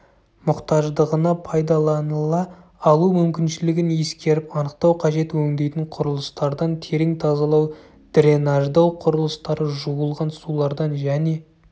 мұқтаждығына пайдаланыла алу мүмкіншілігін ескеріп анықтау қажет өңдейтін құрылыстардан терең тазалау дренаждау құрылыстары жуылған сулардан және